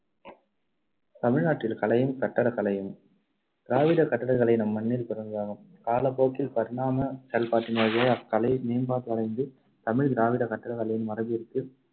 தமிழ்நாட்டில் கலையும் கட்டடக் கலையும் திராவிடக் கட்டடக்கலை நம்மண்ணில் பிறந்ததாகும். காலப் போக்கில் பரிணாமச் செயல்பாட்டின் வழியாய் அக்கலை மேம்பாடு அடைந்து தமிழ் திராவிடக் கட்டடக் கலையின் மரபிற்கு